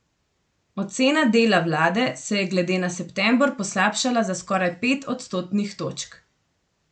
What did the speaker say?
Ocena dela vlade se je glede na september poslabšala za skoraj pet odstotnih točk.